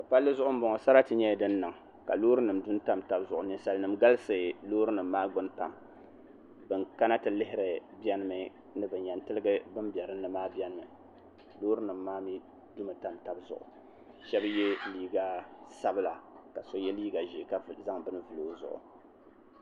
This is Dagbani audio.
Palli zuɣu n bɔŋɔ sarati nyɛla din niŋ ka loori nim du n tam tabi zuɣu ninsal nim galisi loori nim maa gbuni pam bin kana ti lihiri biɛni mi ni bin yɛn tiligi bin bɛ dinni maa biɛni mi loori nim maa mii dumi tam tabi zuɣu shab yɛ liiga sabila ka so yɛ liiga ʒiɛ ka zaŋ bini vuli o zuɣu